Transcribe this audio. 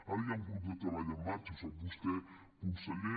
ara hi ha un grup de treball en marxa ho sap vostè conseller